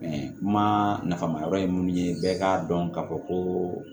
mafan ma yɔrɔ ye mun ye bɛɛ k'a dɔn k'a fɔ ko